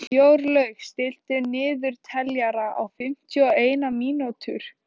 Jórlaug, stilltu niðurteljara á fimmtíu og eina mínútur.